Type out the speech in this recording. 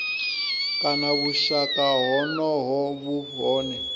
kana vhushaka honoho vhu hone